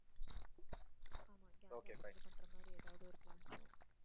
ஆமா gang ஆ வந்து பண்ற மாதிரி ஏதாவது ஒரு